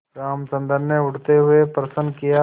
रामचंद्र ने उठते हुए प्रश्न किया